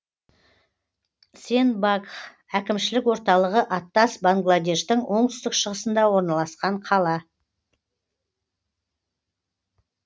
сенбагх әкімшілік орталығы аттас бангладештің оңтүстік шығысында орналасқан қала